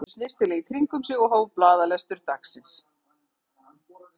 Síðan raðaði hann þessu snyrtilega í kring um sig og hóf blaðalestur dagsins.